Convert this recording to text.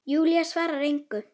Júlía svarar engu.